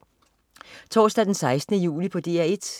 Onsdag den 16. juli - DR 1: